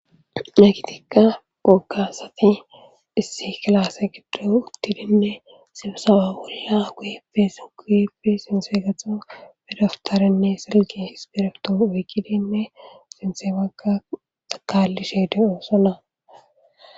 Nakitikka googasati issi kilase giddo uttidinne silosaba wolla wuefe sin quefi sinse gahxan bedaftarenne silgi hispirkto wikilinne sinse bagga xakalishe de'oosona.